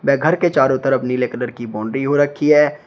वे घर के चारों तरफ नीले कलर की बाउंड्री हो रखी है।